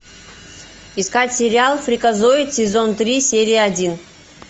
искать сериал фриказоид сезон три серия один